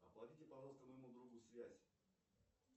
оплатите пожалуйста моему другу связь